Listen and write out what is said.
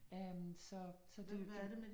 Øh så så det det